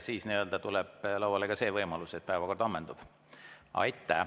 Siis tuleb lauale ka see võimalus, et päevakord ammendub.